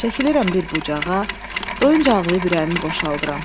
Çəkilirəm bir bucağa, doyunca ağlayıb ürəyimi boşaldıram.